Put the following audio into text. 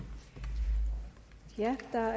her